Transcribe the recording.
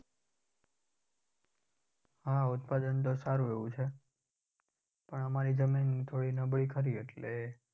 હા ઉત્પાદન તો સારુ એવુ છે. પણ અમારી જમીન થોડી નબળી ખરી એટલે.